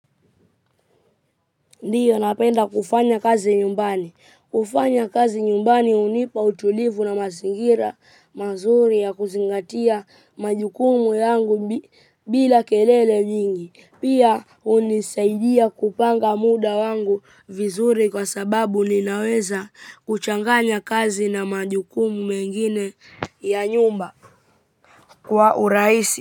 Ndiyo napenda kufanya kazi nyumbani, hufanya kazi nyumbani hunipa utulivu na mazingira mazuri ya kuzingatia majukumu yangu bila kelele nyingi pia hunisaidia kupanga muda wangu vizuri kwa sababu linaweza kuchanganya kazi na majukumu mengine ya nyumba kwa urahisi.